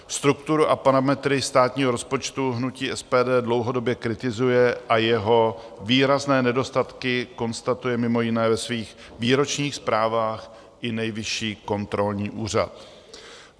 Strukturu a parametry státního rozpočtu hnutí SPD dlouhodobě kritizuje a jeho výrazné nedostatky konstatuje mimo jiné ve svých výročních zprávách i Nejvyšší kontrolní úřad.